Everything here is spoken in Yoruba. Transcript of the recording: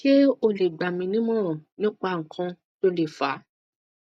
se o le gbami ni imoran nipa ikan to le fa